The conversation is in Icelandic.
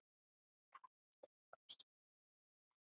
Norðrið dregur sífellt fleiri að.